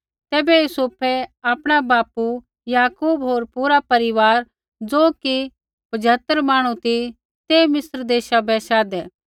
तैबै यूसुफै आपणा बापू याकूब होर पूरा परिवार ज़ो कि पझतर मांहणु ती ते मिस्र देशा बै शाधै